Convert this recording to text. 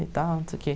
e tal. Não sei o quê.